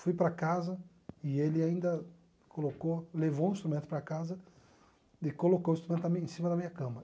Fui para casa e ele ainda colocou, levou o instrumento para casa e colocou o instrumento na minha em cima da minha cama.